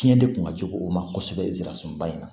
Fiɲɛ de kun ka jugu o ma kosɛbɛ zirasɔnba in na